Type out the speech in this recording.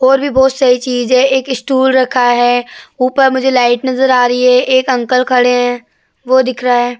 और भी बहोत सारी चीज़ है। एक इस्टूल रखा है। ऊपर मुझे लाइट नज़र आ रही है। एक अंकल खड़े हैं। वो दिख रहा है।